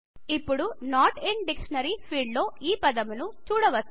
మనం ఇప్పుడు note in dictionary field లో ఈ పదం ను చూడవచ్చు